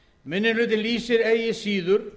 minni hlutinn lýsir ekki síður